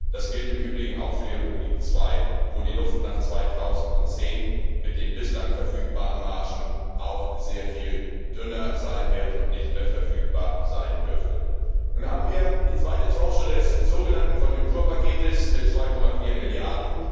Das gilt im Übrigen auch für die Rubrik II, wo die Luft nach 2010 mit den bislang verfügbaren Margen auch sehr viel dünner sein wird und nicht mehr verfügbar sein dürfte. Nun haben wir die zweite Tranche des so genannten Konjunkturpakets mit 2,4 Mrd.